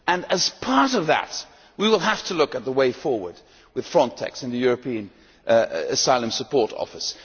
As part of that, we will have to look at the way forward with Frontex and the European Asylum Support Office.